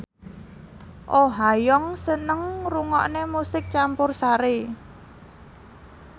Oh Ha Young seneng ngrungokne musik campursari